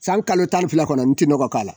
San kalo tan ni fila kɔnɔ n te nɔgɔ k'a la.